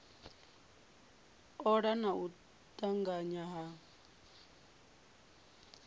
ola na u tanganya ha